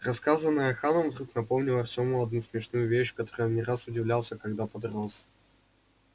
рассказанное ханом вдруг напомнило артему одну смешную вещь которой он не раз удивлялся когда подрос